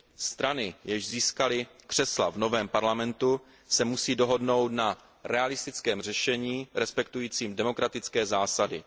Strany, jež získaly křesla v novém parlamentu, se musí dohodnout na realistickém řešení respektujícím demokratické zásady.